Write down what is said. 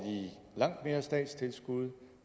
langt mere statstilskud